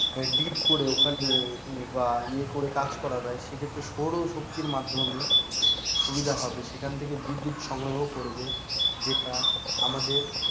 deep করে ওখানে বা এ করে কাজ করা যায় সেক্ষেত্রে সৌরশক্তির মাধ্যমে সুবিধা হবে, সেখান থেকে বিদ্যুত সংগ্রহ করবে যেটা আমাদের,